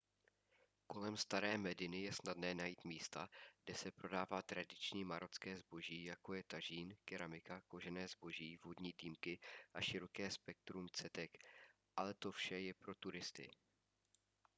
kolem staré mediny je snadné najít místa kde se prodává tradiční marocké zboží jako je tažín keramika kožené zboží vodní dýmky a široké spektrum cetek ale to vše je pro turisty